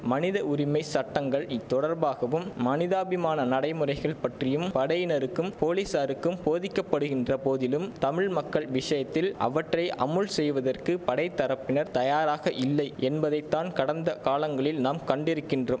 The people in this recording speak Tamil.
மனித உரிமை சட்டங்கள் இத்தொடர்பாகவும் மனிதாபிமான நடைமுறைகள் பற்றியும் படையினருக்கும் போலிஸாருக்கும் போதிக்கப்படுகின்ற போதிலும் தமிழ் மக்கள் விஷயத்தில் அவற்றை அமுல் செய்வதற்கு படைத்தரப்பினர் தயராக இல்லை என்பதை தான் கடந்த காலங்களில் நாம் கண்டிருக்கின்றோம்